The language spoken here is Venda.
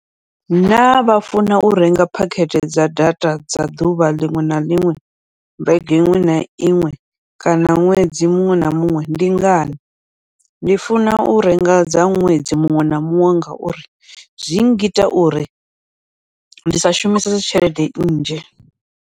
Naa vha funa u renga phakhethe dza data dza ḓuvha liṅwe na liṅwe vhege iṅwe na iṅwe kana ṅwedzi muṅwe na muṅwe ndi ngani, ndi funa u renga dza ṅwedzi muṅwe na muṅwe, ngauri zwi ngita uri ndi sa shumisese tshelede nnzhi.